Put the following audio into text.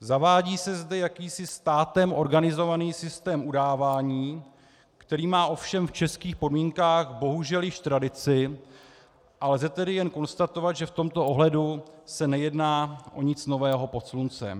Zavádí se zde jakýsi státem organizovaný systém udávání, který má ovšem v českých podmínkách bohužel již tradici, a lze tedy jen konstatovat, že v tomto ohledu se nejedná o nic nového pod sluncem.